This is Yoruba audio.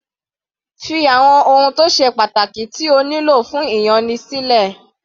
Fí àwọn ohun tó ṣe pàtàkì tí o nílò fún ìyanni sílẹ̀.